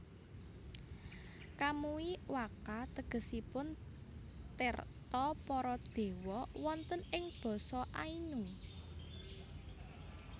Kamui wakka tegesipun tirta para dewa wonten ing basa Ainu